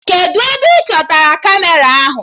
Kedụ ebe ị chọtara Kamera ahụ?